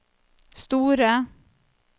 store